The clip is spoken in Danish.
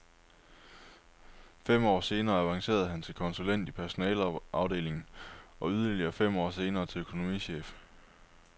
Fem år senere avancerede han til konsulent i personaleafdelingen, og yderligere fem år senere til økonomichef.